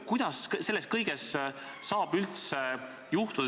Õigusriik seda tähendabki, et kõik on seaduse ees võrdsed.